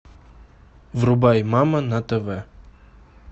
врубай мама на тв